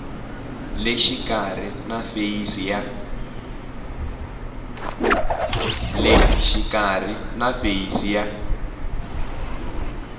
le xikarhi na feyisi ya